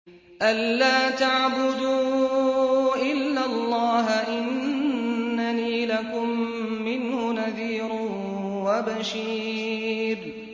أَلَّا تَعْبُدُوا إِلَّا اللَّهَ ۚ إِنَّنِي لَكُم مِّنْهُ نَذِيرٌ وَبَشِيرٌ